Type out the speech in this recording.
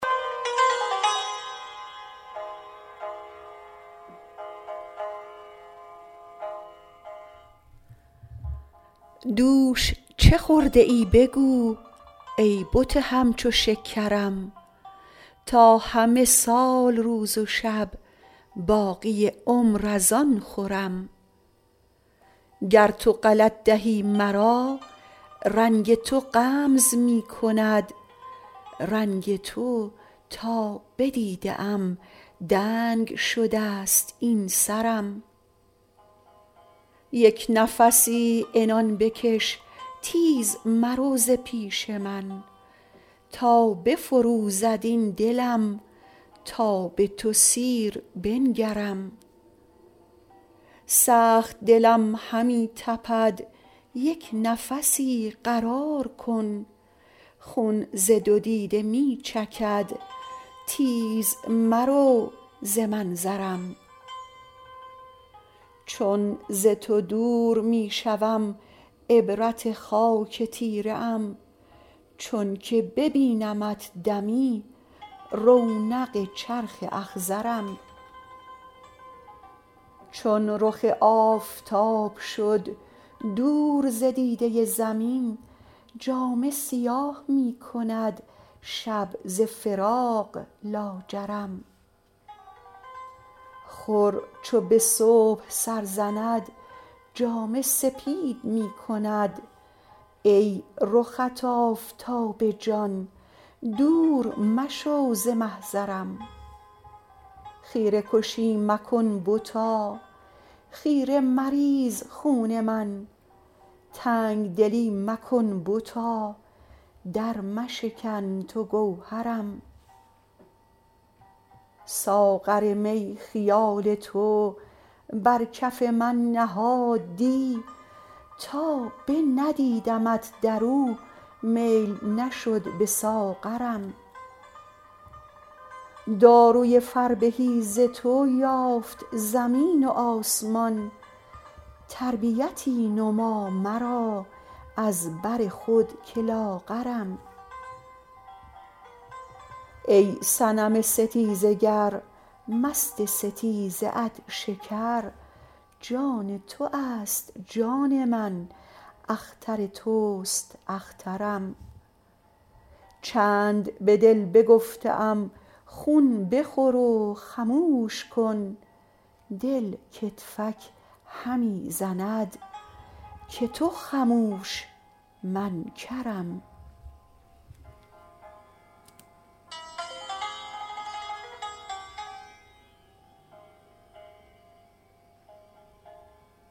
دوش چه خورده ای بگو ای بت همچو شکرم تا همه سال روز و شب باقی عمر از آن خورم گر تو غلط دهی مرا رنگ تو غمز می کند رنگ تو تا بدیده ام دنگ شده ست این سرم یک نفسی عنان بکش تیز مرو ز پیش من تا بفروزد این دلم تا به تو سیر بنگرم سخت دلم همی تپد یک نفسی قرار کن خون ز دو دیده می چکد تیز مرو ز منظرم چون ز تو دور می شوم عبرت خاک تیره ام چونک ببینمت دمی رونق چرخ اخضرم چون رخ آفتاب شد دور ز دیده زمین جامه سیاه می کند شب ز فراق لاجرم خور چو به صبح سر زند جامه سپید می کند ای رخت آفتاب جان دور مشو ز محضرم خیره کشی مکن بتا خیره مریز خون من تنگ دلی مکن بتا درمشکن تو گوهرم ساغر می خیال تو بر کف من نهاد دی تا بندیدمت در او میل نشد به ساغرم داروی فربهی ز تو یافت زمین و آسمان تربیتی نما مرا از بر خود که لاغرم ای صنم ستیزه گر مست ستیزه ات شکر جان تو است جان من اختر توست اخترم چند به دل بگفته ام خون بخور و خموش کن دل کتفک همی زند که تو خموش من کرم